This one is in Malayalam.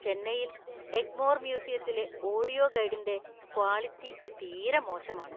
ചെന്നൈയിലെ എഗ്മോർ മ്യൂസിയത്തിലെ ഓഡിയോ ഗൈഡിന്‍റെ ക്വാളിറ്റി തീരെ മോശമാണ്.